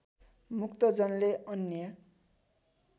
मुक्तजनले अन्य